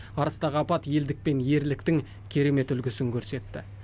арыстағы апат елдік пен ерліктің керемет үлгісін көрсетті